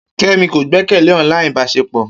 Kemi ko gbekele online ibaṣepọ.